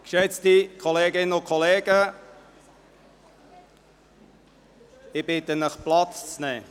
Geschätzte Kolleginnen und Kollegen, ich bitte Sie, Platz zu nehmen.